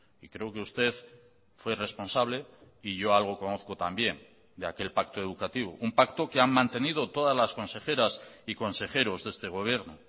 y creo que usted fue responsable y yo algo conozco también de aquel pacto educativo un pacto que han mantenido todas las consejeras y consejeros de este gobierno